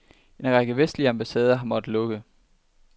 En række vestlige ambassader har måttet lukke.